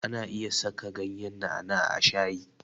Ana iya saka ganyen na'a na'a a shayi.